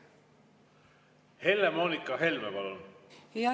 Helle-Moonika Helme, palun!